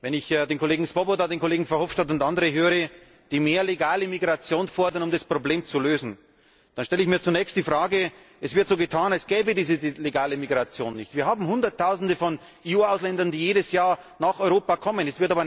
Wenn ich den Kollegen Swoboda, den Kollegen Verhofstadt und andere höre, die mehr legale Migration fordern, um das Problem zu lösen, dann stelle ich mir zunächst die Frage Es wird so getan, als gäbe es diese legale Migration nicht. Wir haben Hunderttausende von EU Ausländern, die jedes Jahr nach Europa kommen.